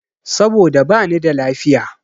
Saboda bani da lafiya.